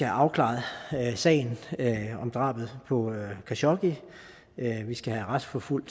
afklaret sagen om drabet på khashoggi vi skal have retsforfulgt